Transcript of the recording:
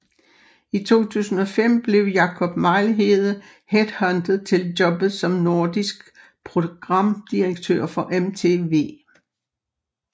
I 2005 blev Jakob Mejlhede headhuntet til jobbet som Nordisk Programdirektør for MTV